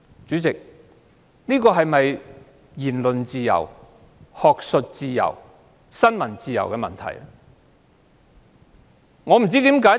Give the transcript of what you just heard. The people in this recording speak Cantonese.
主席，這事件是否與言論自由、學術自由、新聞自由相關？